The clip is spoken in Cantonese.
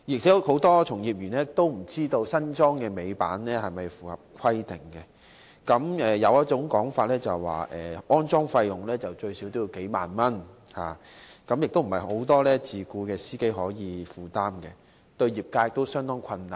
此外，很多從業員都不知道新安裝的尾板是否符合規定，有說法指，安裝費用最少需要數萬元，不是很多自僱司機可以負擔，對業界亦做成相當大困難。